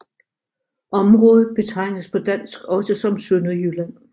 Området betegnes på dansk også som Sønderjylland